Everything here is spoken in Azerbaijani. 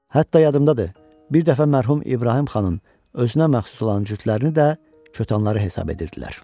Hətta yadımdadır, bir dəfə mərhum İbrahim xanın özünə məxsus olan cütlərini də kətanları hesab edirdilər.